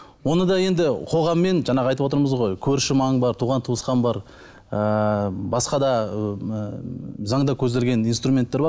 оны да енді қоғаммен жаңағы айтып отырмыз ғой көрші маң бар туған туысқан бар ыыы басқа да заңда көзделген инструменттер бар